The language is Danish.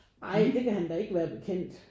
Ej det kan han da ikke være bekendt